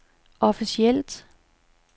officielt